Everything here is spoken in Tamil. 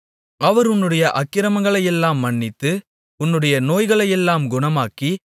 அவர் உன்னுடைய அக்கிரமங்களையெல்லாம் மன்னித்து உன்னுடைய நோய்களையெல்லாம் குணமாக்கி